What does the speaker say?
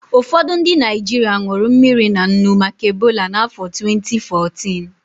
Ụfọdụ ndị Naịjirịa ṅụrụ mmiri na nnu maka Ebola na afọ twenti fourtịn